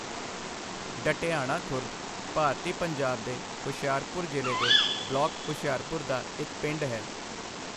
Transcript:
ਡਢਿਆਣਾ ਖੁਰਦ ਭਾਰਤੀ ਪੰਜਾਬ ਦੇ ਹੁਸ਼ਿਆਰਪੁਰ ਜ਼ਿਲ੍ਹੇ ਦੇ ਬਲਾਕ ਹੁਸ਼ਿਆਰਪੁਰ ਦਾ ਇੱਕ ਪਿੰਡ ਹੈ।